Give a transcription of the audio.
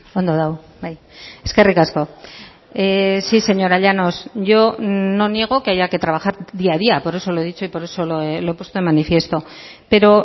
ondo dago bai eskerrik asko sí señora llanos yo no niego que haya que trabajar día a día por eso lo he dicho y por eso lo he puesto de manifiesto pero